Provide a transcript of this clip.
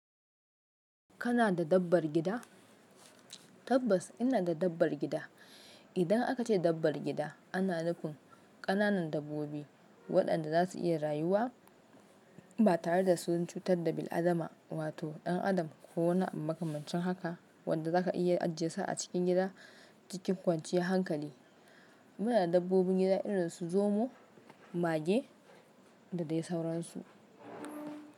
Kana da dabbar gida? Tabbas ina da dabbar gida. Idan aka ce dabbar gida, ana nufin ƙananan dabbobi waɗanda za su iya rayuwa ba tare da su cutar da bil'adama, wato ɗan adam ko wani makamancin haka wanda zaka iya ajiye sa a cikin gida cikin kwanciyar hankali. Muna da dabbobin gida irin su zomo, mage da dai sauransu.